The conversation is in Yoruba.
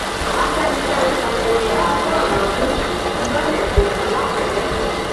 afẹnifẹre ṣayẹyẹ àádọrin ọdún ìfilọlẹ ẹgbẹ wọn làkúrẹ